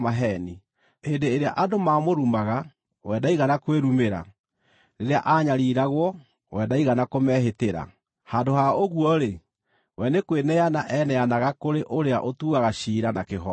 Hĩndĩ ĩrĩa andũ maamũrumaga, we ndaigana kwĩrumĩra; rĩrĩa aanyariiragwo, we ndaigana kũmehĩtĩra. Handũ ha ũguo-rĩ, we nĩ kweneana eneanaga kũrĩ ũrĩa ũtuaga ciira na kĩhooto.